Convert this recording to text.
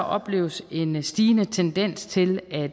opleves en stigende tendens til at